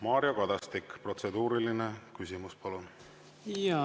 Mario Kadastik, protseduuriline küsimus, palun!